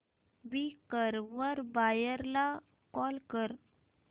Quikr वर buyer ला call कर